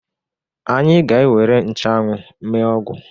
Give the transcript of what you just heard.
Anyị ga-ewere nchụanwụ mee ọgwụ